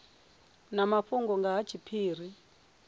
na mafhungo nga ha tshiphiri